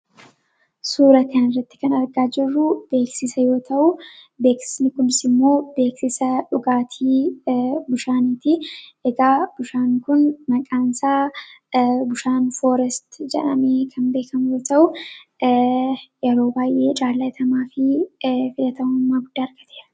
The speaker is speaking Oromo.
suura kana irratti kan argaa jirruu beeksisa yoo ta'u beeksisni kunis imoo beeksisa dhugaatii bishaaniiti eegaa bishaan kun maqaan isaa bishaan fooresti jadhamee kan beekamu yoo ta'uu yeroo baay'ee jaalaatamaa fi filatamummaa gudda argatera.